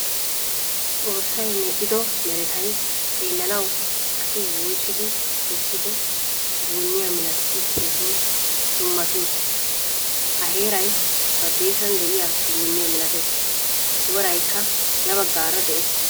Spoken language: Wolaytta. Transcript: Xoossay medhdhido merettay xeelanawu asi woocidi kesido duuniyaa milattidii keehin dummati uttiis. Ha heeray badessan deiyaa duuniyaa milatees. Woraykka ya baggaara de'ees.